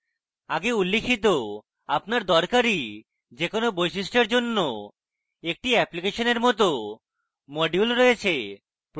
আগে উল্লিখিত আপনার দরকারী যে কোনো বৈশিষ্ট্য এর জন্য একটি অ্যাপ্লিকেশনের মত module রয়েছে